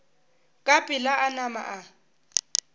ka pela a nama a